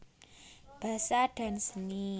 Basa dan Seni